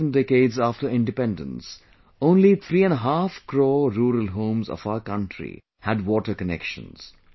In the 7 decades after independence, only three and a half crore rural homes of our country had water connections